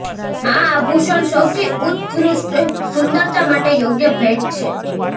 આ આભૂષણ સૌથી ઉત્કૃષ્ટ સુંદરતા માટે યોગ્ય ભેટ છે